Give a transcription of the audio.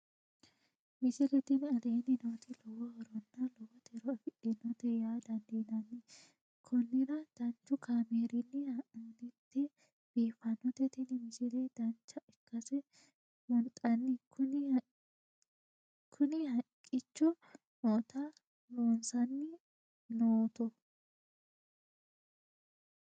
misile tini aleenni nooti lowo horonna lowo tiro afidhinote yaa dandiinanni konnira danchu kaameerinni haa'noonnite biiffannote tini misile dancha ikkase buunxanni kuni haqqicho noota loossanni nootto